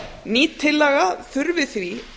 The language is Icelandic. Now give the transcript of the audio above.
ný tillaga þarf því